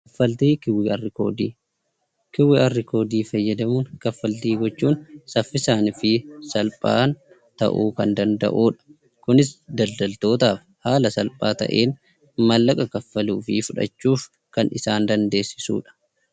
Kaffaltii QR koodii: QR koodii fayyadamuun kaffaltii raawwachuun saffisaanii fi salphaan ta'uu kan danda'udha. Kunis daldaltootaaf haala salphaa ta'een maallaqa kaffaluu fi fudhachuuf kan isaan dandeessisudha.